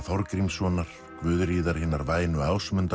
Þorgrímssonar Guðríðar hinnar vænu